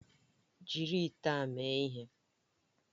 Jiri ite a mee ihe!